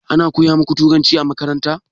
Ana koya muku turanci a makaranta?